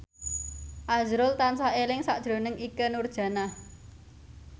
azrul tansah eling sakjroning Ikke Nurjanah